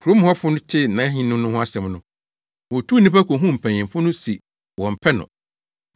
“Kurom hɔfo no tee nʼahenni no ho asɛm no, wotuu nnipa kohuu mpanyimfo no se wɔmpɛ no.